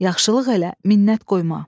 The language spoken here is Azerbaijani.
Yaxşılıq elə, minnət qoyma.